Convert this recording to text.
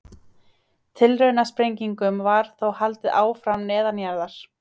Tilraunasprengingum var þó haldið áfram neðanjarðar.